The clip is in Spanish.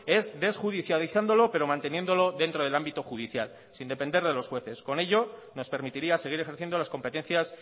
es desjudicializándolo pero manteniéndolo dentro del ámbito judicial sin depender de los jueces con ello nos permitiría seguir ejerciendo las competencias